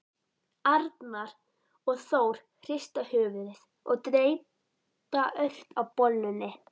Arnar og Þór hrista höfuðið og dreypa ört á bollunni.